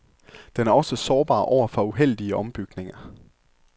Den er også sårbar over for uheldige ombygninger.